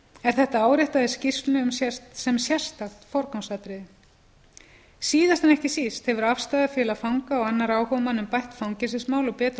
er þetta áréttað í skýrslu sem sérstakt forgangsatriði síðast en ekki síst hefur afstaða fanga og annarra áhugamanna um bætt fangelsismál og betrun